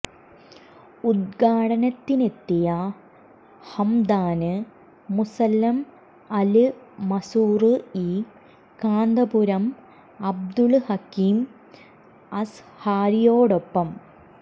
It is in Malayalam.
ഉദ്ഘാടനത്തിനെത്തിയ Hamdan Musallam Al Mazrouei Kanthapuram Abdul Hakeem അസ്ഹരിയോടൊപ്പം